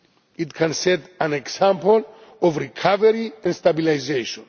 It can set an example of recovery and stabilisation.